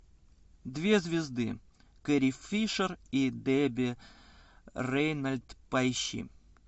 две звезды кэрри фишер и дебби рейнольдс поищи